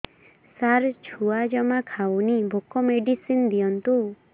ସାର ଛୁଆ ଜମା ଖାଉନି ଭୋକ ମେଡିସିନ ଦିଅନ୍ତୁ